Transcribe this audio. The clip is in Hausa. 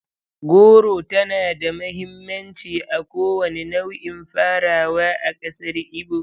Goro tana da mahimmanci a kowane nau'in farawa a ƙasar Igbo.